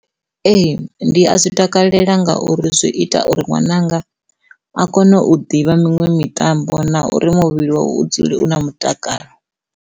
Ee, ndi a zwi takalela ngauri zwi ita uri ṅwananga a kone u ḓivha miṅwe mitambo na uri muvhili wawe u dzule u na mutakalo.